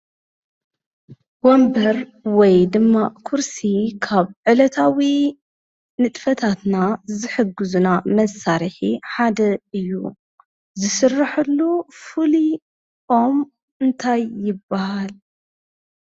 ወምበር ወይ ድማ ዂርሲ ኻብ ዕለታዊ ንጥፈታትና ዝሕግዙና መሣርሒ ሓደ እዩ ዝስረሐሉ ፍሉይ ኦም እንታይ ይበሃል፡፡